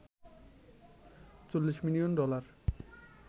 ৪০ million dollar